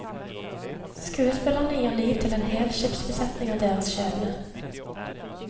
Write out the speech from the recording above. Skuespillerne gir liv til en hel skipsbesetning og deres skjebne.